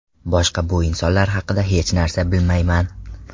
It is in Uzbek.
Boshqa bu insonlar haqida hech narsa bilmayman.